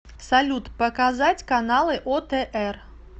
салют показать каналы отр